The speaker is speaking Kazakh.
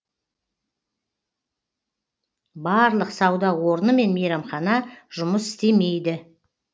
барлық сауда орны мен мейрамхана жұмыс істемейді